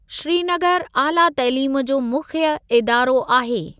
श्रीनगर आला तइलीम जो मुख्य इदारो आहे।